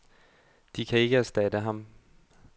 De kan ikke erstatte ham.